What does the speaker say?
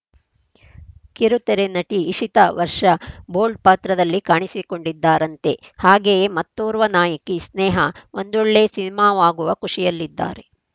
ಕಿರುತೆರೆ ನಟಿ ಇಶಿತಾ ವರ್ಷ ಬೋಲ್ಡ್‌ ಪಾತ್ರದಲ್ಲಿ ಕಾಣಿಸಿಕೊಂಡಿದ್ದಾರಂತೆ ಹಾಗೆಯೇ ಮತ್ತೊರ್ವ ನಾಯಕಿ ಸ್ನೇಹಾ ಒಂದೊಳ್ಳೆ ಸಿನಿಮಾವಾಗುವ ಖುಷಿಯಲ್ಲಿದ್ದಾರೆ